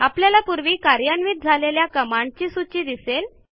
आपल्याला पूर्वी कार्यान्वित झालेल्या कमांडची सूची दिसेल